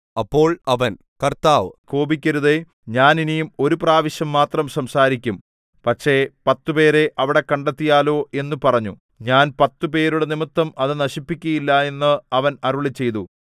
അപ്പോൾ അവൻ കർത്താവ് കോപിക്കരുതേ ഞാൻ ഇനി ഒരു പ്രാവശ്യം മാത്രം സംസാരിക്കും പക്ഷേ പത്തുപേരെ അവിടെ കണ്ടെത്തിയാലോ എന്നു പറഞ്ഞു ഞാൻ പത്തുപേരുടെ നിമിത്തം അത് നശിപ്പിക്കയില്ല എന്ന് അവൻ അരുളിച്ചെയ്തു